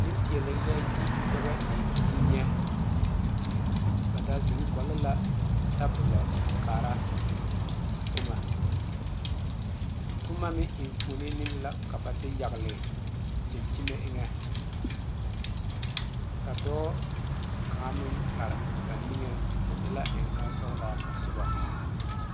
Nenpeɛle la yi ka ba e yinyɛ ba da zeŋ gɔgle la tabolɔ a kaara boma boma meŋ enfuune meŋ la ka ba de yagle dankyimɛ eŋa ka dɔɔ kaŋa meŋ are ba niŋe o e la engane sɔglaa soba.